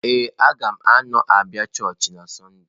Ee, m ga-anọ abịa chọọchị na Sọnde